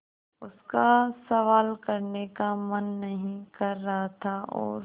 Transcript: उसका सवाल करने का मन नहीं कर रहा था और